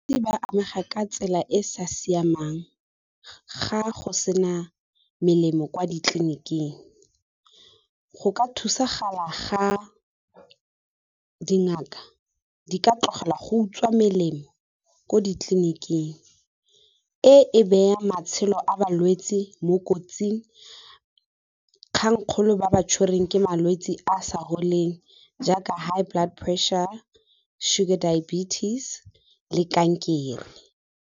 Ba amega ka tsela e e sa siamang ga go sena melemo kwa ditleliniking, go ka thusagala ga dingaka di ka tlogela go utswa melemo ko ditleliniking. E e beya matshelo a balwetse mo kotsing kgang kgolo ba ba tshwereng ke malwetse a a sa foleng jaaka high blood pressure, sugar diabetes le kankere.